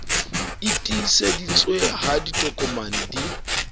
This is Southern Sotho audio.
e tiiseditsweng ha ditokomane di